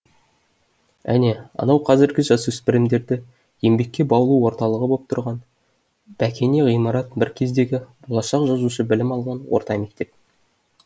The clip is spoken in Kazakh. әне анау қазіргі жасөспірімдерді еңбекке баулу орталығы боп тұрған бәкене ғимарат бір кездегі болашақ жазушы білім алған орта мектеп